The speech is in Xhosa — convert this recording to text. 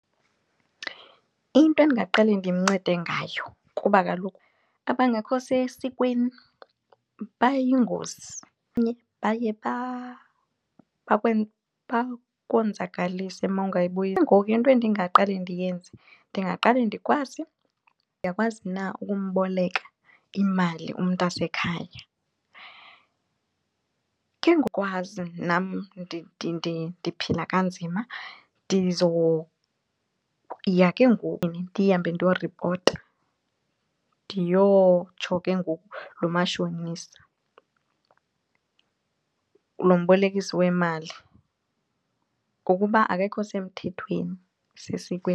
Into endingaqale ndimncede ngayo kuba kaloku abangekho sesikweni bayingozi baye bakonzakalise . Ke ngoku into endingaqale ndiyenze ndingaqale ndikwazi ndiyakwazi na ukumboleka imali umntasekhaya. Ke ngokwazi nam ndiphila kanzima ndiya ke ngoku ndihambe ndiyoripota ndiyotsho ke ngoku lo mashonisa lo mbolekisi wemali ngokuba akekho semthethweni sesikweni.